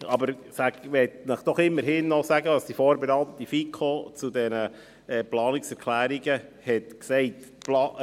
Aber ich möchte Ihnen doch immerhin noch sagen, was die vorberatenden FiKo zu diesen Planungserklärungen gesagt hat.